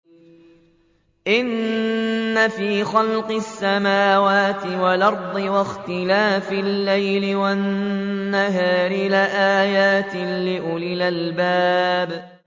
إِنَّ فِي خَلْقِ السَّمَاوَاتِ وَالْأَرْضِ وَاخْتِلَافِ اللَّيْلِ وَالنَّهَارِ لَآيَاتٍ لِّأُولِي الْأَلْبَابِ